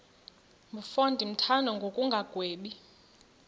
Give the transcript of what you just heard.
mfo ndimthanda ngokungagwebi